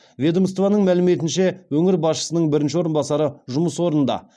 ведомствоның мәліметінше өңір басшысының бірінші орынбасары жұмыс орнында